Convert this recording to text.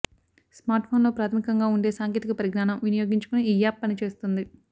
స్మార్ట్ఫోన్లో ప్రాథమికంగా ఉండే సాంకేతిక పరిజ్ఞానం వినియోగించుకుని ఈ యాప్ పనిచేస్తుంది